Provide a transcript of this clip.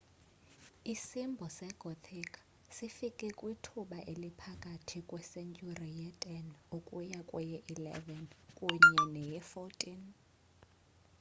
isimbo segothic sifike kwithuba eliphakathi kwesentyhuri ye-10 ukuya kweye-11 kunye neye-14